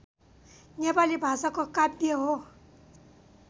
नेपाली भाषाको काव्य हो